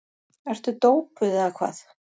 Ertu dópuð eða hvað?